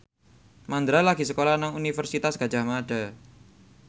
Mandra lagi sekolah nang Universitas Gadjah Mada